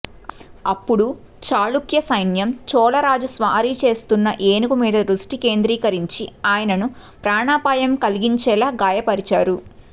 అప్పుడు చాళుక్యసైన్యం చోళ రాజు స్వారీ చేస్తున్న ఏనుగు మీద దృష్టి కేంద్రీకరించి ఆయనను ప్రాణాపాయం కలిగించేలా గాయపరిచారు